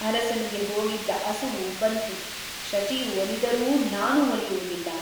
ಅರಸನಿಗೆ ಹೋಗಿದ್ದ ಅಸುವು ಬಂತು ಶಚಿಯು ಒಲಿದರೂ ನಾನು ಒಲಿಯುವುದಿಲ್ಲ.